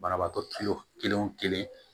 Banabaatɔ kelen o kelen o kelen